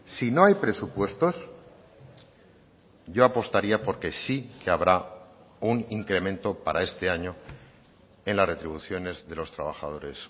si no hay presupuestos yo apostaría por que sí que habrá un incremento para este año en las retribuciones de los trabajadores